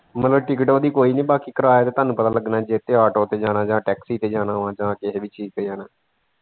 ਮਤਲਬ ticket ਉਹਦੀ ਕੋਈ ਨਹੀਂ ਬਾਕੀ ਕਿਰਾਏ ਤਾਂ ਤੁਹਾਨੂੰ ਪਤਾ ਲੱਗਨਾ ਜਿਹਦੇ ਤੇ auto ਤੇ ਜਾਣਾ ਜਾਂ taxi ਤੇ ਜਾਣਾ ਵਾ ਜਾਂ ਕਿਸੇ ਵੀ ਚੀਜ਼ ਤੇ ਜਾਣਾ।